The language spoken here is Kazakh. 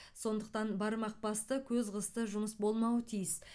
сондықтан бармақ басты көз қысты жұмыс болмауы тиіс